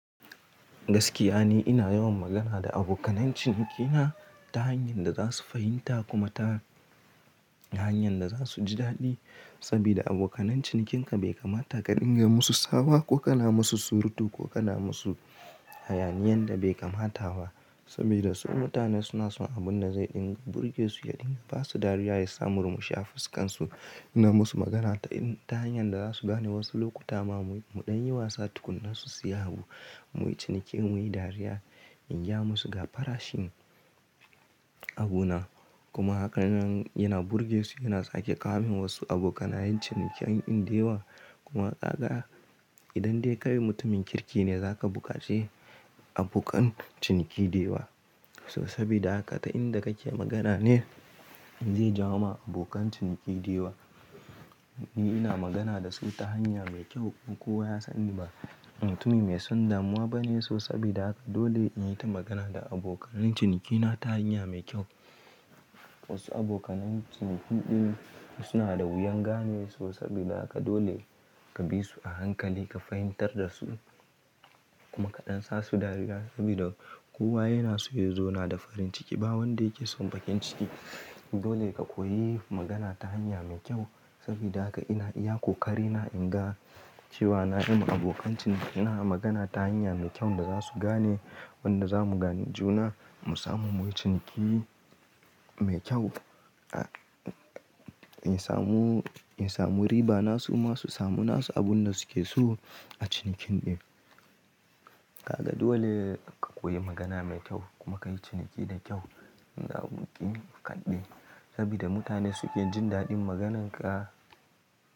Gaskiya ni ina yawan magana da abokanan cinki na ta hanyar da za su fahimta kuma ta hanyar da za su ji daɗi. Sabida abokanan cinkin ka bai kamata ka dinga musu tsawa ko ka na musu surutu ko ka na musu hayaniyan da bai kamata ba. Sabida submutane suna son abun da zai dinga burge su, ya dinga ba su dariya ya sa murmushi a fuskan su. Ina musu magana ta hanyar da za su gane wasu lokuta ma muyi, mu ɗan yi wasa tukuna su siya abu, muyi ciniki muyi dariya, in gaya musu ga farashin abu na. Kuma haka nan yana burge su, yana sake kawo min wasu abokanayin ciniken in da yawa kuma kaga. Idan dai kai mutumin kirki ne zaka bukace abokan ciniki da yawa. To sabida haka ta inda kake magana ne zai jawo ma abokan ciniki da yawa. Ni ina magana da su ta hanya mai kyau kuma kowa ya sani ba ni mutumi mai son damuwa bane. To sabida haka dole in yi ta magana da abokanan cinki na ta hanya mai kyau. Wasu abokanan cinki ɗin suna da wuyan gane so sabida haka dole ka bi su a hankali ka fahimtar da su kuma ka ɗan sa su dariya sabida kowa yana so ya zauna da farin ciki ba wanda yake son baƙin ciki. Dole ka koyi magana ta hanya mai kyau sabida haka ina iya ƙoƙari na in ga cewa na yi ma abokan ciniki na magana ta hanya mai kyau da za su gane wanda za mu gane juna mu samu muyi ciniki mai kyau, a in samu, in samu riba na su ma su samu na su abun da su ke so a cinikin ɗin. Kaga dole ka koyi magana mai kyau kuma ka yi ciniki da kyau in za ku ƙi kaɗai. Sabida mutane su ke jin daɗin magananka.